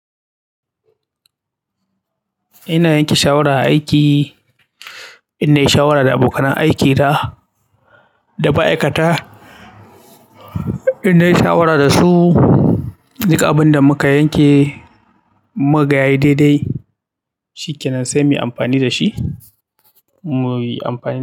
Ina yanke shawara a aiki, inna yi shawara da abokanan aikina da ma'aikata. Inna yi shawara dasu duk abunda muka yanke mukaga yayi dai dai shikenan sai muyi amfani dashi mu.